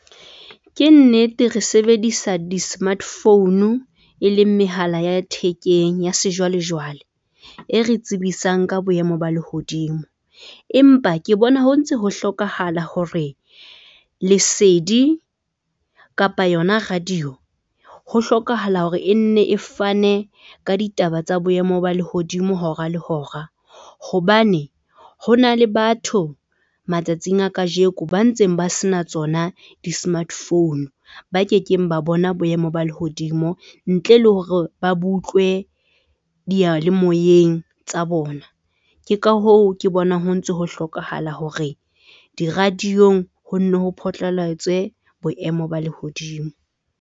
Ke nnete re sebedisa di-smart phone e leng mehala ya thekeng ya sejwale jwale e re tsebisang ka boemo ba lehodimo. Empa ke bona ho ntse ho hlokahala hore lesedi kapa yona radio ho hlokahala hore e nne e fane ka ditaba tsa boemo ba lehodimo hora le hora. Hobane ho na le batho matsatsing a kajeko, ba ntseng ba se na tsona di-smart phone ba ke keng ba bona boemo ba lehodimo ntle le hore ba butlwe diyalemoyeng tsa bona. Ke ka hoo ke bonang ho ntso ho hlokahala hore di-radio-ng ho nne ho phatlalatswe boemo ba lehodimo.